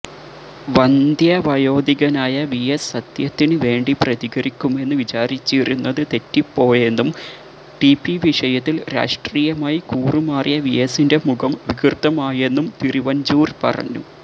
വന്ദ്യവയോധികനായ വിഎസ് സത്യത്തിന് വേണ്ടി പ്രതികരിക്കുമെന്ന് വിചാരിച്ചിരുന്നത് തെറ്റിപ്പോയെന്നും ടിപിവിഷയത്തില് രാഷ്ട്രീയമായി കൂറുമാറിയ വിഎസിന്റെ മുഖം വികൃതമായെന്നും തിരുവഞ്ചൂര് പറഞ്ഞു